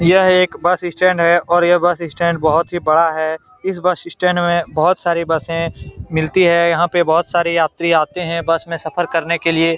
यह एक bus stand है और यह बस स्टैंड बहुत ही बड़ा है इस बस स्टैंड मे बहुत सारी बसे मिलती है यहाँ पे बहुत सारी यात्री आते है बस मे सफर करने के लिए |